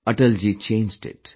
Atalji changed it